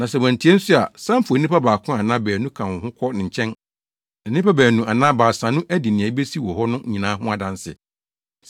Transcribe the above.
Na sɛ wantie nso a, san fa onipa baako anaa baanu ka wo ho kɔ ne nkyɛn, na nnipa baanu anaa baasa no adi nea ebesi wɔ hɔ no nyinaa ho adanse.